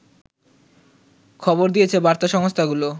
খবর দিয়েছে বার্তা সংস্থাগুলো